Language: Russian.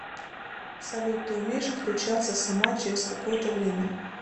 салют ты умеешь отключаться сама через какое то время